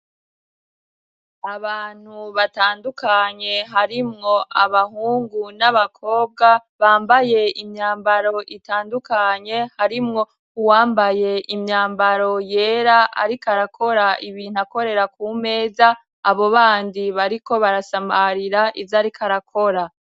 Abantu batandukanye harimwo abahungu, n'abakobwa ,bambaye imyambaro itandukanye ,harimwo uwambaye imyambaro yera ,ariko arakora ibintu akorera ku meza, abo bandi bariko barasamarira ivy'ariko arakora.